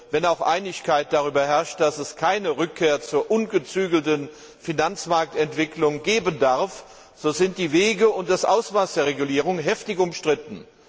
Wenn auch Einigkeit darüber herrscht, dass es keine Rückkehr zur ungezügelten Finanzmarktentwicklung geben darf, so sind die Wege und das Ausmaß der Regulierung doch heftig umstritten.